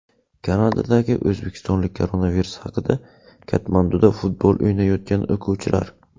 Kanadadagi o‘zbekistonlik koronavirus haqida Katmanduda futbol o‘ynayotgan o‘quvchilar.